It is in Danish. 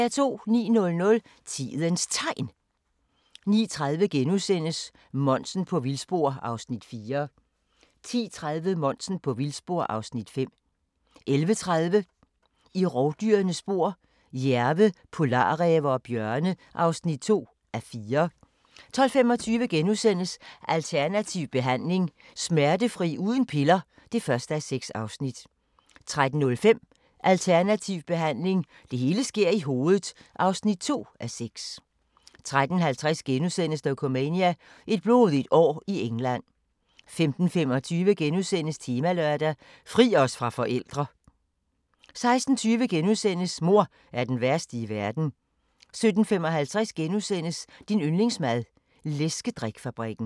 09:00: Tidens Tegn 09:30: Monsen på vildspor (Afs. 4)* 10:30: Monsen på vildspor (Afs. 5) 11:30: I rovdyrenes spor: Jærve, polarræve og bjørne (2:4) 12:25: Alternativ behandling – Smertefri uden piller (1:6)* 13:05: Alternativ behandling – det hele sker i hovedet (2:6) 13:50: Dokumania: Et blodigt år i England * 15:25: Temalørdag: Fri os fra forældre * 16:20: Mor er den værste i verden * 17:55: Din yndlingsmad: Læskedrik-fabrikken *